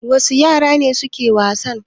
Wasu yara ne suke wasa?